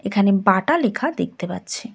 এখানে বাটা লেখা দেখতে পাচ্ছি।